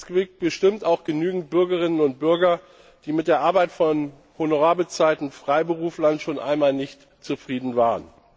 Es gibt bestimmt auch genügend Bürgerinnen und Bürger, die mit der Arbeit von honorarbezahlten Freiberuflern schon einmal nicht zufrieden waren.